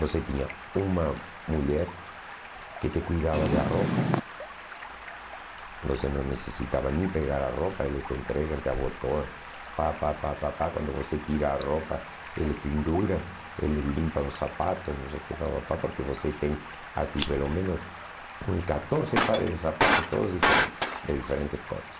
Você tinha uma mulher que te cuidava da roupa, você não necessitava nem pegar a roupa, eles te entregam, te abotoam, pá, pá, pá, pá, pá, quando você tira a roupa, eles penduram, eles limpam os sapatos, não sei o que, pá, pá, pá, porque você tem assim pelo menos hum catorze pares de sapatos, todos diferentes, de diferentes cores.